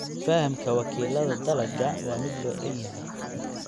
Fahamka wakiilada dalagga waa mid loo dhan yahay.